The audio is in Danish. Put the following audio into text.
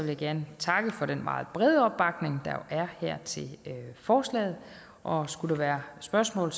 jeg gerne takke for den meget brede opbakning der er til forslaget og skulle der være spørgsmål